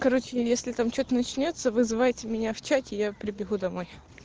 короче если там что-то начнётся вызывайте меня в чате я прибегу домой